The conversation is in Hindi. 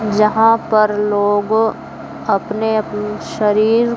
जहां पर लोगो अपने अप्नं शरीर--